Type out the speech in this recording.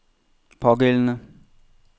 pågældende